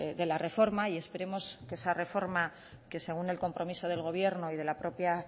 de la reforma y esperemos que esa reforma que según el compromiso del gobierno y de la propia